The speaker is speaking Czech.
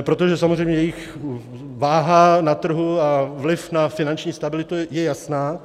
protože samozřejmě jejich váha na trhu a vliv na finanční stabilitu je jasná.